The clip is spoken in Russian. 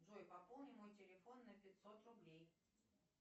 джой пополни мой телефон на пятьсот рублей